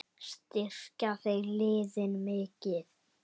Styrkja þeir liðin mikið?